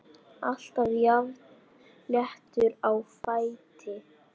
Alltaf jafn léttur á fæti.